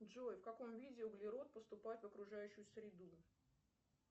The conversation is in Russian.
джой в каком виде углерод поступает в окружающую среду